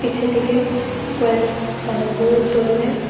পিছে থেকে কয়েক মানে বহুদ ধরনের--